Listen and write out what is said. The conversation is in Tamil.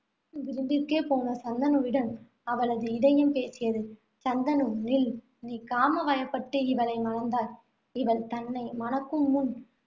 விளிம்பிற்கே போன சந்தனுவிடம் அவனது இதயம் பேசியது. சந்தனு நில் நீ காம வயப்பட்டு, இவளை மணந்தாய். இவள் தன்னை மணக்கும் முன்,